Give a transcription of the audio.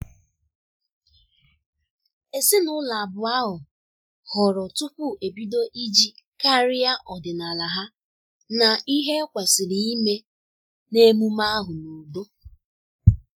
Ezinụlọ abụọ ahụ hụrụ tupu ebido iji karịa ọdịnala ha na ihe e kwesịrị ime na emume ahu n'udo